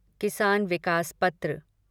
किसान विकास पत्र